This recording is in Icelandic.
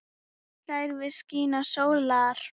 hlær við skini sólar